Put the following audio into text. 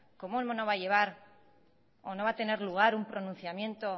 cómo no va a llevar o no va a tener lugar un pronunciamiento